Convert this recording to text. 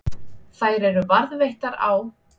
Þær eru varðveittar á